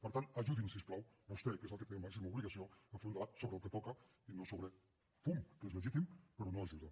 per tant ajudi’m si us plau vostè que és el que en té la màxima obligació de fer un debat sobre el que toca i no sobre fum que és legítim però no ajuda